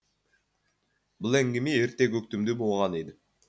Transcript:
бұл әңгіме ерте көктемде болған еді